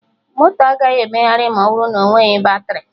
Moto agaghị emegharị ma ọ bụrụ na onweghị batrị